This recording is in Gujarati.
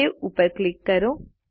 સવે ઉપર ક્લિક કરો